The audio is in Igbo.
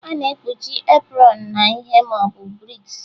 A na-ekpuchi apron na ihe ma ọ bụ brik